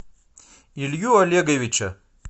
илью олеговича